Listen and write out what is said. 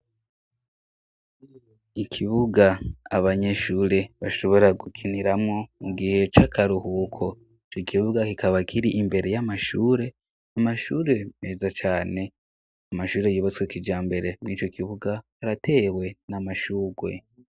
Ikibuga abanyeshure bashobora gukiniramwo mugihe cakaruhuko co ikibubga kikaba kiri imbere y'amashure, amashure meza cane, amashure yibatswe kijambere, mwinco kibuga aratewe n'amashurwe.